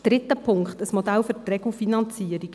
Der dritte Punkt ist ein Modell für die Regelfinanzierung.